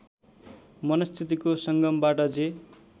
मनस्थितिको सङ्गमबाट जे